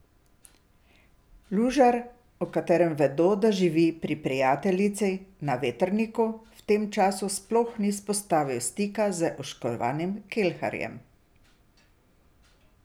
Lužar, o katerem vedo, da živi pri prijateljici na Vetrniku, v tem času sploh ni vzpostavil stika z oškodovanim Kelharjem.